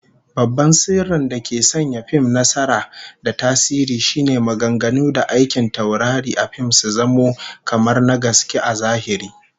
Babban sirrin dake sanya fim nasara da tasiri shine maganganu da aikin taurari a fim su zamo kamar na gaske a zahiri